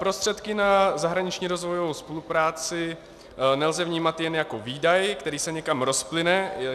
Prostředky na zahraniční rozvojovou spolupráci nelze vnímat jen jako výdaj, který se někam rozplyne.